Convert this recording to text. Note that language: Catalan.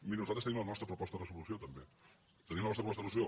miri nosaltres tenim la nostra proposta de resolució també tenim la nostra proposta de resolució